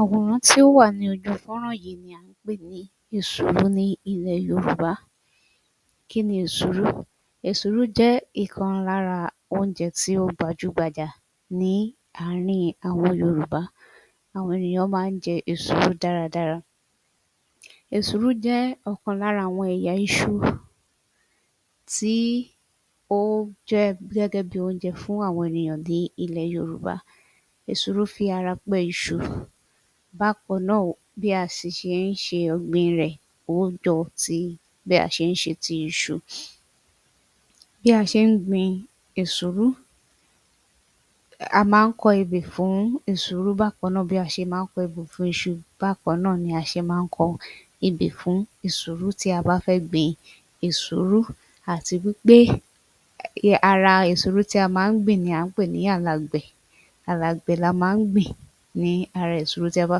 Àwòràn tí à ń wò lójú fọ́nrán yìí ni à ń pè ní èsúrú ní ilẹ̀ Yorùbá Kí ni èsúrú? Èsúrú jẹ́ ọ̀kan lára oúnjẹ tí ó gbajúgbajà ní àárín àwọn Yorùbá Àwọn èèyàn máa ń jẹ èsúrú dáradára Èsúrú jẹ́ ọ̀kan lára àwọn ẹ̀yà iṣu tí ó jẹ́ gẹ́gẹ́ bí oúnjẹ fún àwọn ènìyàn ní ilẹ̀ yorùbá Èsúrú fi ara pẹ́ iṣu Bákan náà bí a sì ṣe ń ṣe ọ̀gbìn rẹ̀ ó ń jọ bí a ti ṣe ń ṣe iṣu Bí a ṣe ń gbin èsúrú A máa ń kọ ebè fún èsúrú bákan náà, bí a ṣe máa ń kọ ebè fún iṣu bákan náà ni a ṣe máa ń kọ ebè fún èsúrú tí a bá fẹ́ gbìín èsúrú. Àti wí pé ara èsúrú tí a máa ń gbìn ni à ń pè ní alàgbẹ̀ alàgbẹ̀ ni a máa ń gbìn ní ara èsúrú tí a bá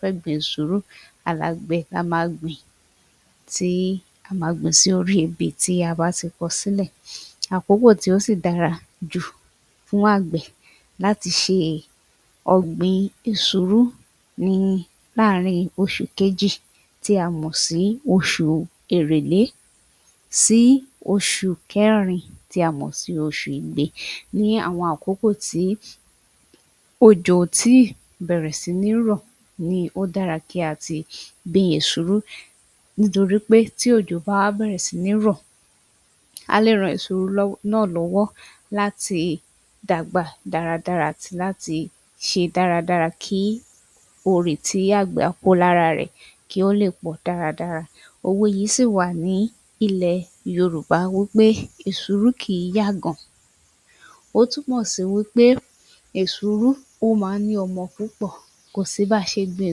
fẹ́ gbin èsúrú alàgbẹ̀ ni a ma gbìn sórí ebè tí a ti kọ sílẹ̀ Àkókò tí ó sì dára jù fún àgbẹ̀ láti ṣe ọ̀gbìn èsúrú ni láàrin oṣù kejì tí a mọ̀ sí oṣù èrèlé sí oṣù kẹrin tí a mọ̀ sí oṣù igbe ní àwọn àkókò tí òjò kò tí ì bẹ̀rẹ̀ sí ní rọ̀ ni ó dára kí a ti gbin èsúrú nítorí pé tí òjò bá bẹ̀r̀ẹ̀ sí ní rọ̀ á lè ran èsúrú náà lọ́wọ́ láti dàgbà dáradára àti láti ṣe dáradára kí òòrè tí àgbẹ̀ á kó lára rẹ̀ kí ó lè pọ̀ dáradára òwe yìí sì wà ní ilẹ̀ yorùbá wí pé èsúrú kì í yàgàn ó túmọ̀ sí wí pé èsúrú ó máa ń ní ọmọ púpọ̀ kò sí bí a ṣe gbin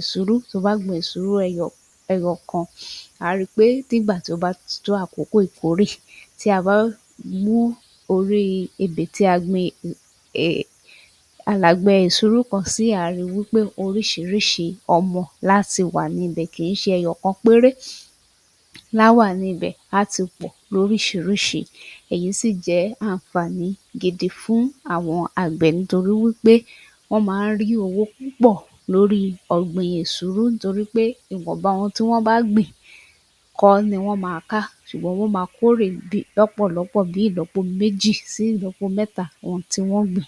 èsúrú, to bá gbin èsúrú ẹyọ kan a ó ri pé nígbà tó bá tó àkókò ìkórè tí a bá mú orí ebè tí a gbin alàgbẹ̀ èsúrú kan si à ó ri eí pé oríṣiríṣi ọmọ lá ti wà níbẹ̀ kì í ṣe ẹyọ kan péré láá wà níbẹ̀ á á ti pọ̀ lóríṣiríṣi èyí sì jẹ́ àǹfàní gidi fún àwọn àgbẹ̀ nítorí wí pé wọ́n máa ń rí èrè púpọ̀ lórí ọ̀gbìn èsúrú nítorí pè ìwọ̀nba ohun tí wọ́n bá gbìn kọ́ ni wọ́n máa ká ṣùgbọ́n wọ́n máa kórè lọ́pọ̀lọpọ̀ bí ìlọ́po méjì sí ìlọ́po mẹ́ta ohun tí wọ́n gbìn